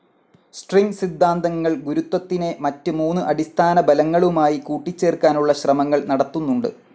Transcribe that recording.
String സിദ്ധാന്തങ്ങൾ ഗുരുത്വത്തിനെ മറ്റ് മൂന്ന് അടിസ്ഥാന ബലങ്ങളുമായി കൂട്ടിച്ചേർക്കാനുള്ള ശ്രമങ്ങൾ നടത്തുന്നുണ്ട്.